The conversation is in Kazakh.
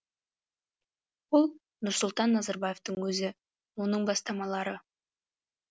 ол нұрсұлтан назарбаевтың өзі оның бастамалары